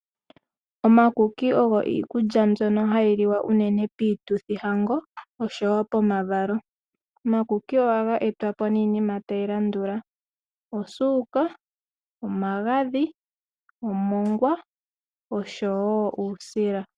Omakuki ogwo iikulya mbwono hayi liwa unene piituthi hango oshowo pomavalo .Omakuki ohaga etwapo ninima tayi landula osuka ,omagadhi ,omongwa oshowo uusila.